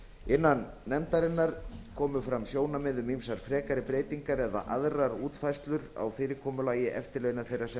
innan nefndarinnar komu fram sjónarmið um ýmsar frekari breytingar eða aðrar útfærslur á fyrirkomulagi eftirlauna þeirra sem